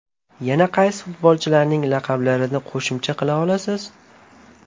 Yana qaysi futbolchilarning laqablarini qo‘shimcha qila olasiz?